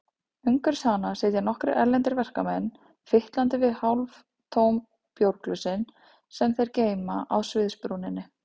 Umhverfis hana sitja nokkrir erlendir verkamenn, fitlandi við hálftóm bjórglösin sem þeir geyma á sviðsbrúninni.